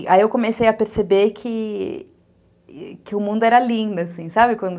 Aí eu comecei a perceber que o mundo era lindo, assim, sabe quando